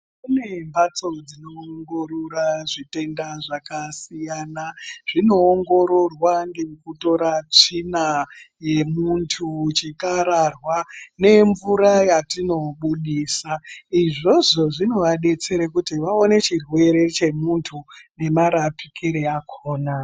Kune mbatso dzinoongorora zvitenda zvakasiyana. Zvinoongororwa ngekutora tsvina yemuntu, chikararwa nemvura yatinobudisa. Izvozvo zvinoadetsere kuti vaone chirwere chemuntu nemarapikire akona.